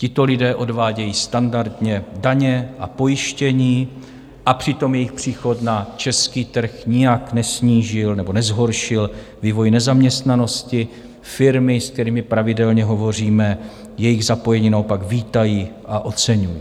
Tito lidé odvádějí standardně daně a pojištění a přitom jejich příchod na český trh nijak nesnížil nebo nezhoršil vývoj nezaměstnanosti, firmy, s kterými pravidelně hovoříme, jejich zapojení naopak vítají a oceňují.